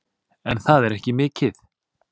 En það er ekki mikið.